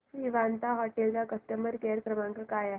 Vivanta hotel चा customer care क्रमांक काय आहे